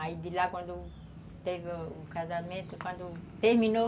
Aí de lá, quando teve o casamento, quando terminou,